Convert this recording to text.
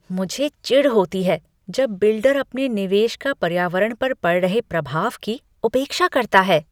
मुझे चिढ़ होती है जब बिल्डर अपने निवेश का पर्यावरण पर पड़ रहे प्रभाव की उपेक्षा करता है।